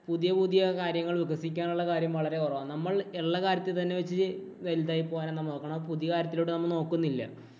പുതിയ പുതിയ കാര്യങ്ങൾ വികസിക്കാനുള്ള കാര്യങ്ങൾ വളരെ കുറവാണ്. നമ്മൾ ഉള്ള കാര്യത്തിൽ തന്നെ വെച്ച് വലുതായി പോകാനാണ് നോക്കണേ. പുതിയ കാര്യത്തിലോട്ട് നമ്മൾ നോക്കുന്നില്ല.